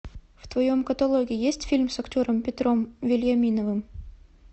в твоем каталоге есть фильм с актером петром вельяминовым